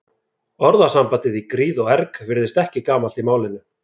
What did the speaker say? Orðasambandið í gríð og erg virðist ekki gamalt í málinu.